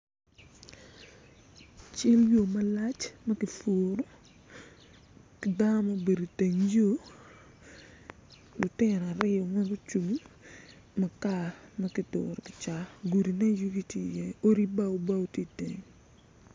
Cal yo malac ma kipuro ki dano ma gubedo i teng yo lutino aryo ma gucung makar ma kiduro gudi me yugi tye iye odi ma obedo bao bao te iye.